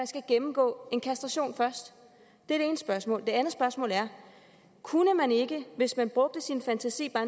skal gennemgå en kastration det er det ene spørgsmål det andet spørgsmål er kunne man ikke hvis man brugte sin fantasi bare